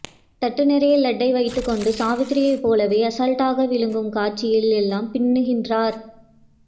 தட்டு நிறைய லட்டை வைத்துகொண்டு சாவித்திரி போலவே அசால்ட்டாக விழுங்கும் காட்சியில் எல்லாம் பின்னுகின்றார்